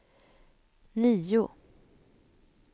nio